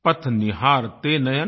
पथ निहारते नयन